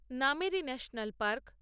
Nameri national park